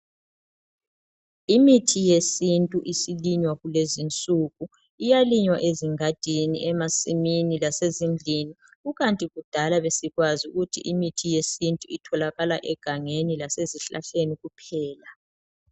Imithi yesintu isilinywa kulezinsuku, iyalinywa ezingadini, emasimini lase zindlini kukanti kudala besikwazi ukuthi imithi yesintu itholakala egangeni lasezihlahleni kuphela.